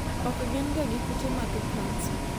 ok gin ga gi kute mag kansa